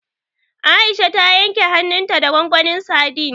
Aisha ta yanke hannunta da gwangwanin sadin.